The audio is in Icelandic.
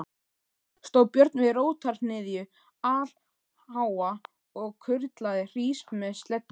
Stóð Björn við rótarhnyðju allháa og kurlaði hrís með sleddu.